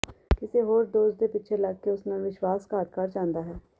ਕਿਸੇ ਹੋਰ ਦੋਸਤ ਦੇ ਪਿੱਛੇ ਲੱਗ ਕੇ ਉਸ ਨਾਲ ਵਿਸ਼ਵਾਸ਼ਘਾਤ ਕਰ ਜਾਂਦਾ ਹੈ